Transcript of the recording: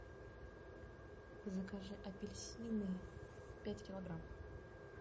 закажи апельсины пять килограмм